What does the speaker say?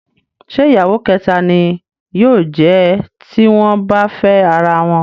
Ṣé ìyàwó kẹ̀ta ni yóò jẹ̀ ẹ́ tí wọ́n bá fẹ́ ara wọn?